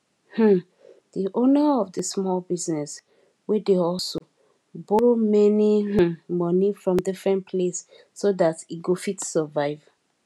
um di owner of di small business wey dey hustle borrow many um money from different place so da e go fit survive